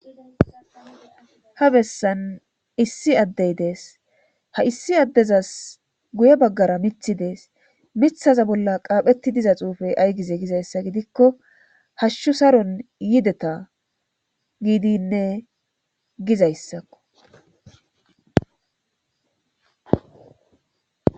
ha bessan issi addey dees ha issi addezas guye baggara mithi dees mithaza bolla qaaphetti diza xuufey aygize gizayssa gidikko hashshu saron yideta giidinne gizayssakko